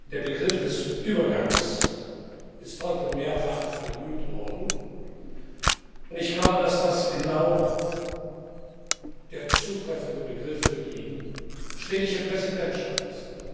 Der Begriff des Übergangs ist heute mehrfach bemüht worden, und ich glaube, dass das genau der zutreffende Begriff für die schwedische Präsidentschaft ist.